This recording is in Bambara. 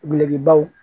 Gulogibaw